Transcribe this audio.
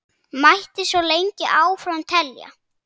Mætti svo lengi áfram telja.